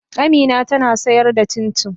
Amina tana sayar da cincin.